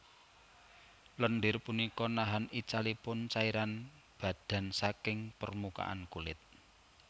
Lendir punika nahan icalipun cairan badan saking permukaan kulit